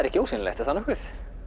ekki ósýnilegt er það nokkuð